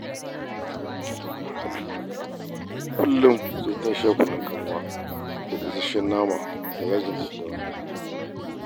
Kullum sai ta sha kunnun kanwa da gasasshen nama da yajin daddawa.